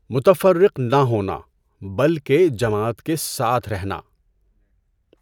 متفرق نہ ہونا، بلکہ جماعت کے ساتھ رہنا۔